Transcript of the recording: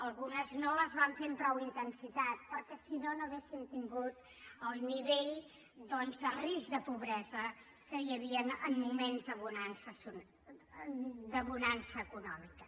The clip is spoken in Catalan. algunes no les van fer amb prou intensitat perquè si no no hauríem tingut el nivell de risc de pobresa que hi havia en moments de bonança econòmica